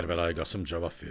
Kərbəlayı Qasım cavab verdi.